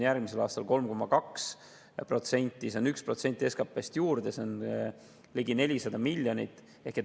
Järgmisel aastal on need 3,2%, juurde tuleb 1% SKP-st, see on ligi 400 miljonit.